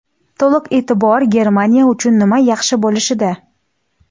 To‘liq e’tibor Germaniya uchun nima yaxshi bo‘lishida.